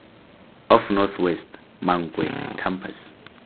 of north west mankwe campus